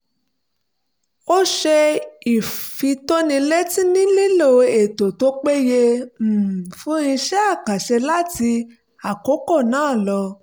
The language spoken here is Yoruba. ó ṣe ìfitónilétí nílílò ètò tó péye um fún iṣẹ́ àkànṣe láti àkókò náà lọ